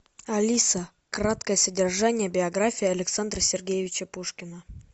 алиса краткое содержание биографии александра сергеевича пушкина